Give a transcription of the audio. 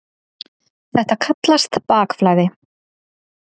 Þetta kallast bakflæði.